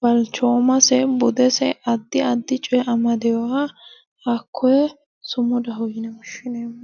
balchoomase budese addi addi coye amadeeha hakkoye sumudaho yine woshineemmo